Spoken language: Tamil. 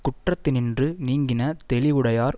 குற்றத்தினின்று நீங்கின தெளிவுடையார்